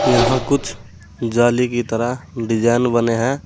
यहां कुछ जाली की तरह डिजाइन बने हैं।